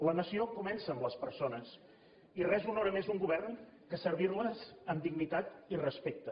la nació comença amb les persones i res honora més un govern que servir les amb dignitat i respecte